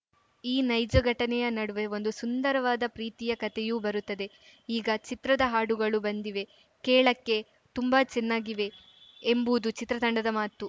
ಈ ನೈಜ ಘಟನೆಯ ನಡುವೆ ಒಂದು ಸುಂದರವಾದ ಪ್ರೀತಿಯ ಕತೆಯೂ ಬರುತ್ತದೆ ಈಗ ಚಿತ್ರದ ಹಾಡುಗಳು ಬಂದಿವೆ ಕೇಳಕ್ಕೆ ತುಂಬಾ ಚೆನ್ನಾಗಿವೆ ಎಂಬುದು ಚಿತ್ರತಂಡದ ಮಾತು